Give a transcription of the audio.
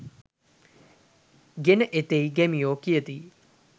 ගෙන එතියි ගැමියෝ කියති